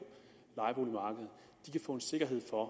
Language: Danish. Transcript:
få en sikkerhed for at